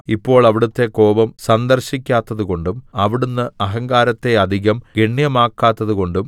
ഇപ്പോൾ അവിടുത്തെ കോപം സന്ദർശിക്കാത്തതുകൊണ്ടും അവിടുന്ന് അഹങ്കാരത്തെ അധികം ഗണ്യമാക്കാത്തതുകൊണ്ടും